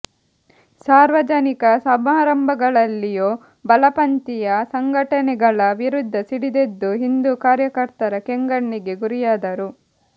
ಸಾರ್ವಜನಿಕ ಸಮಾರಂಭಗಳಲ್ಲಿಯೂ ಬಲಪಂಥೀಯ ಸಂಘಟನೆಗಳ ವಿರುದ್ಧ ಸಿಡಿದೆದ್ದು ಹಿಂದೂ ಕಾರ್ಯಕರ್ತರ ಕೆಂಗಣ್ಣಿಗೆ ಗುರಿಯಾದರು